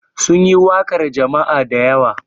Sun yi waƙar jama'a da yawa.